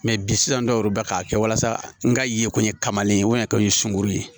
bi sisan dɔw yɛrɛ bɛ k'a kɛ walasa n ka yeko ɲɛ kamalen wa kɛ n ye sunguru ye